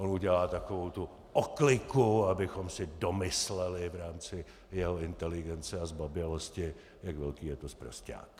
On udělá takovou tu okliku, abychom si domysleli v rámci jeho inteligence a zbabělosti, jak velký je to sprosťák.